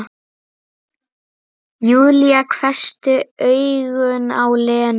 Júlía hvessti augun á Lenu.